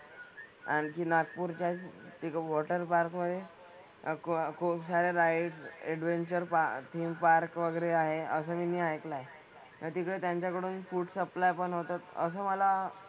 आणखी नागपूरच्याच एक water park मधे अह खूप खुपसाऱ्या rides, adventure park theme park वगैरे आहे असं मीनी ऐकलंय. तर तिकडे त्यांच्याकडून food supply पण होतं. असं मला,